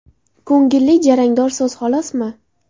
Ko‘ngilli jarangdor so‘z xolosmi?!.